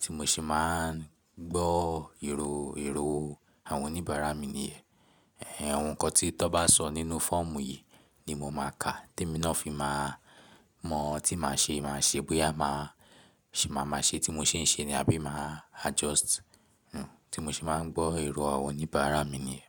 Tí mo ṣe máa ń gbọ́ èrò, èrò àwọn oníbàárà mi nìyẹn. Ẹ̀hẹn, ohun kan tí tọ́ bá sọ nínú fọ́ọ̀mù yìí ni mo máa ka tí mi náà fi máa mọ tí màá ṣe máa ṣe bóyá màá ṣe máa máa ṣe tí mo ṣe ń ṣe ni àbí màá adjust. Hmm, tí mo ṣe máa ń gbọ́ èrò àwọn oníbàárà mi nìyẹn.